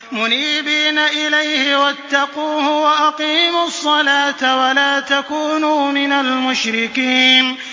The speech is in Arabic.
۞ مُنِيبِينَ إِلَيْهِ وَاتَّقُوهُ وَأَقِيمُوا الصَّلَاةَ وَلَا تَكُونُوا مِنَ الْمُشْرِكِينَ